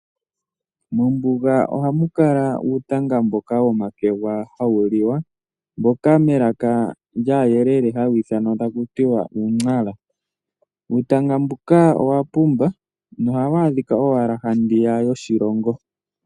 Mombuga ohamu kala uutanga mboka womakegwa hawu liwa, mboka melaka lyAayelele hawu ithanwa taku tiwa uu! Nara. Uutanga mbuka owa pumba nohawu adhika owala handiya yoshilongo.